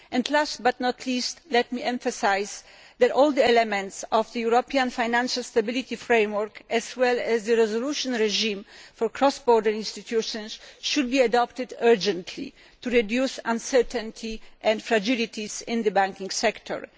Last but not least, let me emphasise that all the elements of the European financial stability framework, as well as the resolution regime for cross border institutions, should be adopted urgently to reduce uncertainty and fragilities in the banking sector.